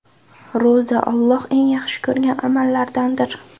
Ro‘za Alloh eng yaxshi ko‘rgan amallardandir.